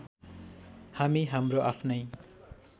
हामी हाम्रो आफ्नै